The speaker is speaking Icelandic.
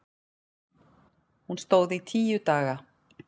Hún stóð í tíu daga.